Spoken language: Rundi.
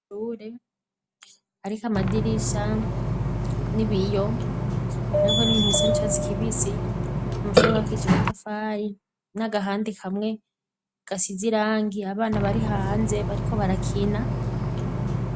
Amashure ariko amadirisha n'ibiyo ariko n'ibintu bisanchats kvc umushore wakiche matafayi mw'agahandi kamwe gasizirangi abana bari hahanze bariko barakina.